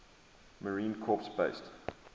marine corps base